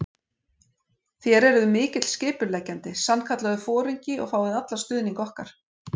Þér eruð mikill skipuleggjandi, sannkallaður foringi og fáið allan stuðning okkar.